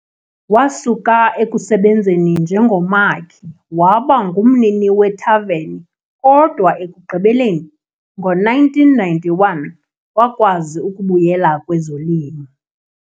Wasuka ekusebenzeni njengomakhi waba ngumnini wethaveni kodwa ekugqibeleni, ngo-1991, wakwazi ukubuyela kwezolimo.